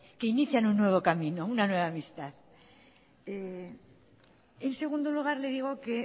que inician un nuevo camino una nueva amistad en segundo lugar le digo que